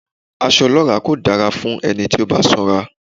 Aṣọ ọlọ́ràá kò dára fún ẹni tó bá sanra.